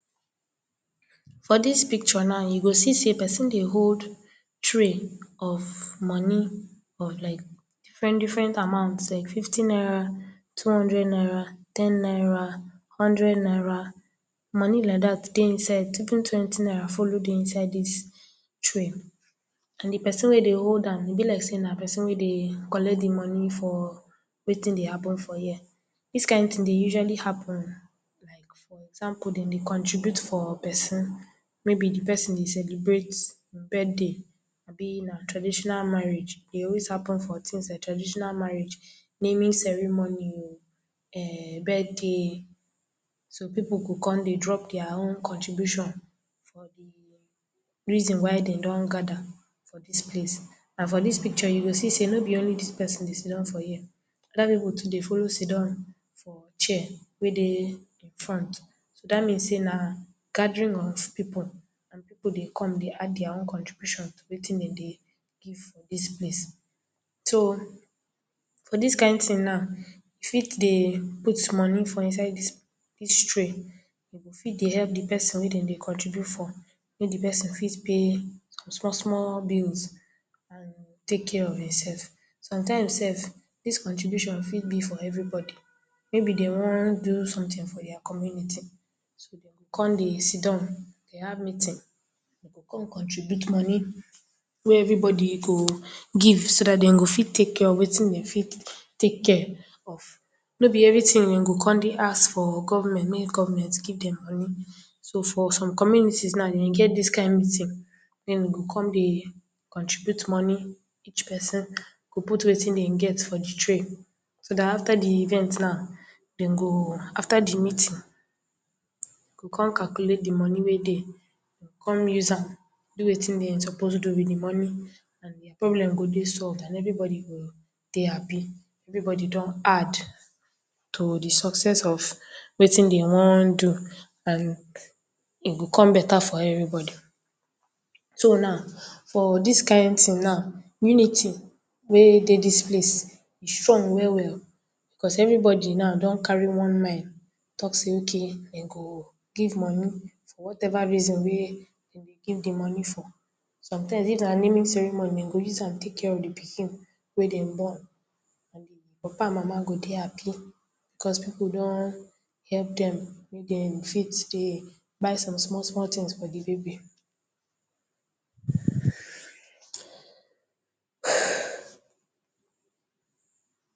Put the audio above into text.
For dis picture now, you go see sey pesin dey hold tray of money of like different-different amount like fifty naira, two-hundred-naira, ten -naira, hundred-naira, money like dat dey inside even twenty naira follow dey inside dis tray. And de pesin wey hold am e be like sey na pesin wey dey collect money for wetin dey happen for here. Dis kind thing dey usually happen like for example dem dey contribute for pesin, maybe de pesin dey celebrate birthday, abi na traditional marriage dey always happen for things, like traditional marriage, naming ceremony o, erm birthday, so pipu go come dey drop their own contribution for de reason why dem don gather for dis place. And for dis picture, you go see sey no be only dis pesin dey sitdon for here. Other pipu too dey follow sitdon for chair wey dey im front so dat means sey na gathering of pipu and pipu dey come dey add their own contribution to wetin dem dey give for dis place. So, for dis kind thing now, you fit dey put money for inside dis tray. You go fit dey help de pesin wey dem dey contribute for, make de pesin fit pay some small-small bills and take care of himself. Sometimes sef, dis contribution fit be for everybody maybe dey wan do something for their community so dey go come dey sitdon, dey have meeting, dey come contribute money wey everybody go give so dat dem go fit take care of wetin dem fit take care of. No be everything dem go come dey ask for government make government give dem money. So, for some community now, dem get dis kind meeting dem go come dey contribute money. Each pesin go put wetin dem get for de tray, so after de event now, dem go, after de meeting dey go come calculate de money wey dey. Dey go come use am do wetin dey suppose do wit de money. And their problem go dey solved and everybody go dey happi. Everybody don add to the success of wetin dem wan do and e go come beta for everybody. So now, for dis kind thing now, unity wey dey dis place e strong well-well o. Because everybody now don carry one name talk sey okay o dem go give money for whatever reason dem dey give de money for. Sometimes if na naming ceremony, dem go use am take care of de pikin wey dem born and the papa and Mama go dey happi because pipu don help dem make dem fit dey buy some small-small things for de baby.